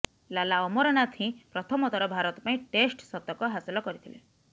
ଲାଲା ଅମରନାଥ ହିଁ ପ୍ରଥମ ଥର ଭାରତ ପାଇଁ ଟେଷ୍ଟ ଶତକ ହାସଲ କରିଥିଲେ